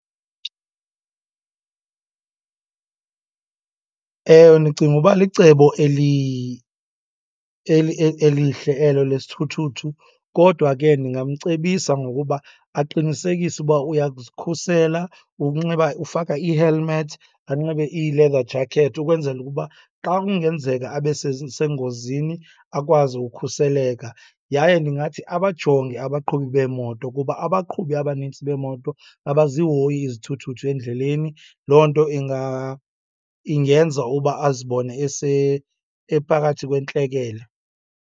Ewe, ndicinga uba licebo elihle elo lesithuthuthu. Kodwa ke ndingamcebisa ngokuba aqinisekise uba uyazikhusela ngokunxiba, ufaka ii-helmet, anxibe ii-leather jacket ukwenzela ukuba xa kungenzeka abe sengozini, akwazi ukhuseleka. Yaye ndingathi abajonge abaqhubi beemoto kuba abaqhubi abanintsi beemoto abazihoyi izithuthuthu endleleni. Loo nto ingeza uba azibone ephakathi kwentlekele.